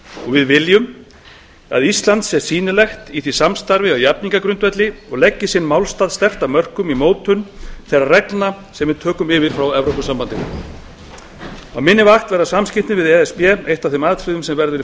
við viljum að ísland sé sýnilegt í því samstarfi á jafningjagrundvelli og leggi sinn málstað sterkt að mörkum í mótun þeirra reglna sem við yfirtökum frá evrópusambandinu á minni vakt verða samskiptin við e s b meðal helstu atriða í forgrunni